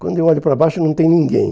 Quando eu olho para baixo, não tem ninguém.